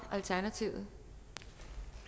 altså